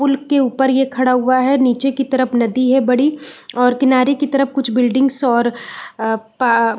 pool के ऊपर ये खड़ा हुआ है और नीचे की तरफ नदी है बड़ी और किनारे की तरफ कुछ बिल्डिंग्स और पा --